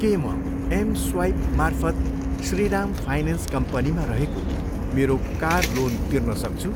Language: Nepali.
के म एम स्वाइपमार्फत श्रीराम फाइनेन्स कम्पनीमा रहेको मेरो कार लोन तिर्न सक्छु?